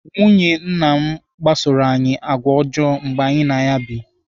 Nwunye nna kpasoro anyị àgwà ọjọọ mgbe anyị na ya bụ.